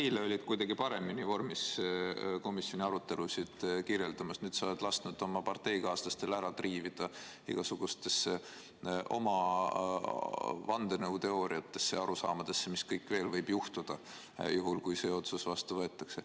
Sa eile olid kuidagi paremini vormis komisjoni arutelusid kirjeldama, nüüd sa oled lasknud oma parteikaaslastel teemaga ära triivida igasugustesse vandenõuteooriatesse, arusaamadesse, mis kõik võib juhtuda, juhul kui see otsus vastu võetakse.